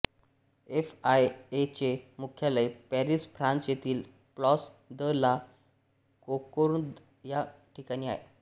F I A चे मुख्यालय Paris France येथील प्लास द ला कोंकोर्द या ठिकाणी आहे